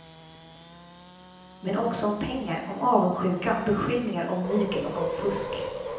Men också om pengar, om avundsjuka, om beskyllningar, om mygel och om fusk.